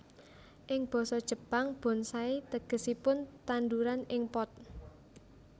Ing basa Jepang bonsai tegesipun tandhuran ing pot